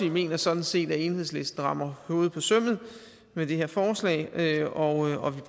mener sådan set at enhedslisten rammer hovedet på sømmet med det her forslag og